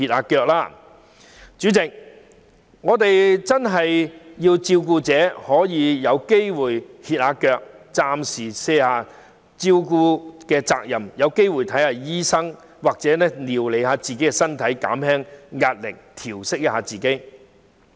代理主席，我們真的要讓照顧者有時間歇息，暫時卸下照顧人的責任，好好料理自己的身體，調息一下，紓緩壓力。